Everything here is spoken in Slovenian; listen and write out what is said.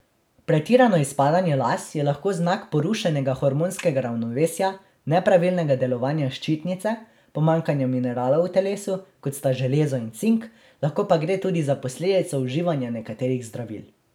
Pretirano izpadanje las je lahko znak porušenega hormonskega ravnovesja, nepravilnega delovanja ščitnice, pomanjkanja mineralov v telesu, kot sta železo in cink, lahko pa gre tudi za posledico uživanja nekaterih zdravil.